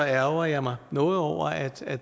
ærgrer jeg mig noget over at at